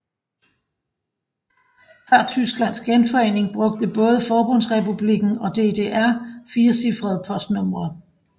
Før Tysklands genforening brugte både Forbundsrepublikken og DDR firecifrede postnumre